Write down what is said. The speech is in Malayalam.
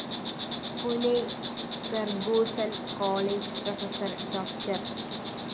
Pune Fergusson‍ college professor Dr